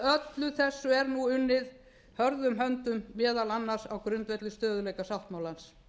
að öllu þessu er nú unnið hörðum höndum meðal annars á grundvelli stöðugleikasáttmálans